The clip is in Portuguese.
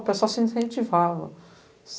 O pessoal se incentivava.